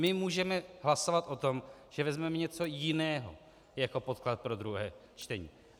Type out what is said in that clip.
My můžeme hlasovat o tom, že vezmeme něco jiného jako podklad pro druhé čtení.